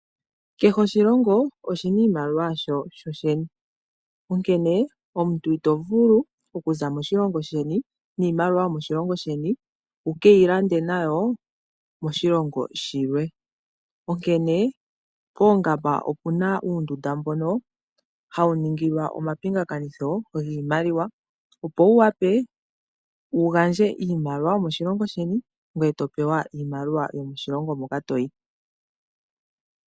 Kehe oshilongo oshina iimaliwa yaasho shoshene, onkene omuntu itovulu okuza moshilongo sheni niimaliwa yomoshilongo sheni wu ke yi lande nayo koshilongo shilwe. Koongamba okuna uundunda mbono hawu ningilwa omapingathano giimaliwa opo wu wape wu gandje iimaliwa yomoshilongo sheni gweye wu pewe yomoshilongo moka toyi.